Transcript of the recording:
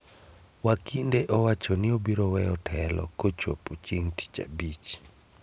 Wakinde owacho ni obiro weyo telo kochopo chieng' tich abich